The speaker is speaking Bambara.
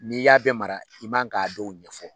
N'i y'a bɛɛ mara i man k'a dɔw ɲɛfɔ